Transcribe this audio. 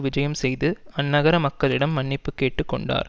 விஜயம் செய்து அந்நகர மக்களிடம் மன்னிப்பு கேட்டு கொண்டார்